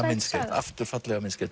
aftur fallega myndskreytt